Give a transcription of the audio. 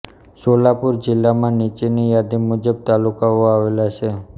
સોલાપૂર જિલ્લામાં નીચેની યાદી મુજબ તાલુકાઓ આવેલા છે